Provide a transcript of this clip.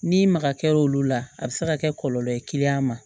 N'i maga kɛra olu la a bi se ka kɛ kɔlɔlɔ ye ma